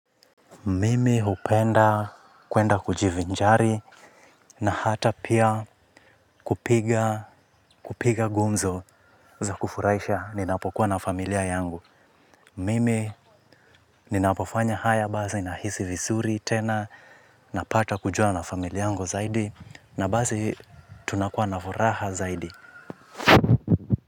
Mimi upenda kuenda kujivinjari na hata pia kupiga gumzo za kufuraisha ninapokuwa na familia yangu. Mimi ninapofanya haya basi nahisi visuri tena napata kujua na familia yangu zaidi na basi tunakuwa na furaha zaidi.